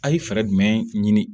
A' ye fɛɛrɛ jumɛn ɲini